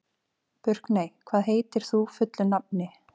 Burkney, hvað heitir þú fullu nafni?